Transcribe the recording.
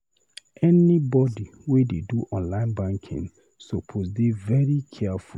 Anybodi wey dey do online banking suppose dey very careful.